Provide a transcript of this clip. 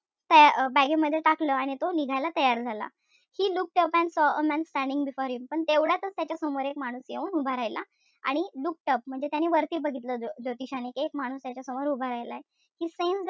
त अं bag ए मध्ये टाकलं आणि तो निघायला तयार झाला. He looked up and saw a man standing before him पण तेवढ्यातच एक माणूस त्याच्या समोर येऊन उभा राहिला. आणि looked up म्हणजे त्याने वरती बघितलं. ज्योतिषाने कि एक माणूस त्याच्यासमोर उभा राहिला आहे. He sensed,